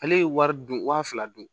Ale ye wari dun waa fila dun